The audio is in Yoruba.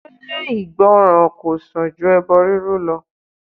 Ṣé ìgbọ́ràn kò sàn ju ẹbọ rírú lọ?